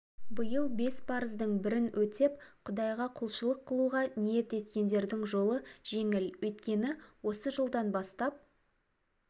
биыл бес парыздың бірін өтеп құдайға құлшылық қылуға ниет еткендердің жолы жеңіл өйткені осы жылдан бастап